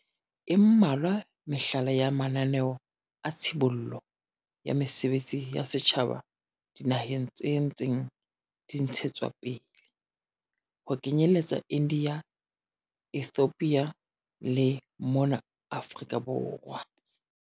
E mmalwa mehlala ya mananeo a tshibollo ya mesebetsi ya setjhaba dinaheng tse ntseng di ntshetswapele, ho kenyeletsa India, Ethiopia le mona Afrika Borwa.